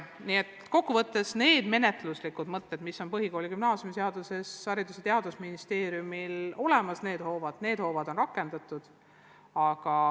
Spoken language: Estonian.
Nii et kokkuvõttes võib öelda, et need menetluslikud hoovad, mis on põhikooli- ja gümnaasiumiseaduse kohaselt Haridus- ja Teadusministeeriumil olemas, on rakendust leidnud.